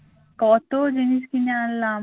কত জিনিস কিনে আনলাম